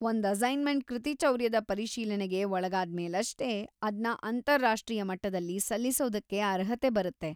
ಒಂದ್‌ ಅಸೈನ್ಮೆಂಟ್‌ ಕೃತಿಚೌರ್ಯದ ಪರಿಶೀಲನೆಗೆ ಒಳ್ಗಾದ್ಮೇಲಷ್ಟೇ ಅದ್ನ ಅಂತಾರಾಷ್ಟೀಯ ಮಟ್ಟದಲ್ಲಿ ಸಲ್ಲಿಸೋದಕ್ಕೆ ಅರ್ಹತೆ ಬರುತ್ತೆ.